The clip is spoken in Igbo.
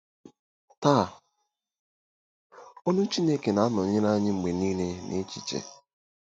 Taa, olu Chineke na-anọnyere anyị mgbe niile n'echiche.